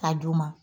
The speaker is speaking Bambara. K'a d'u ma